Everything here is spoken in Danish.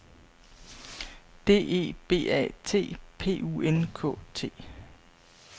D E B A T P U N K T